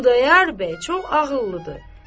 Xudayar bəy çox ağıllıdır.